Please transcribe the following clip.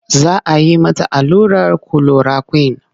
Za a yi mata allurar kulorakwin.